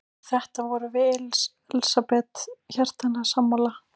Um þetta vorum við Elsabet hjartanlega sammála.